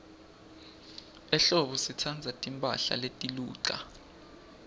ehlobo sitsandza timphahla letiluca